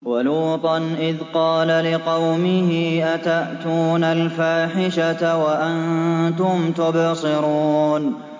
وَلُوطًا إِذْ قَالَ لِقَوْمِهِ أَتَأْتُونَ الْفَاحِشَةَ وَأَنتُمْ تُبْصِرُونَ